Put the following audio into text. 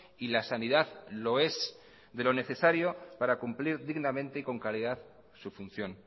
y la sanidad lo es de lo necesario para cumplir dignamente con calidad su función